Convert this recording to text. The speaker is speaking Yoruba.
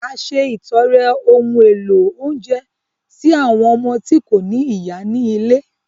A ṣètọrẹ ohun èlò oúnjẹ sí àwọn ọmọ tí kò ní ìyá ní ilé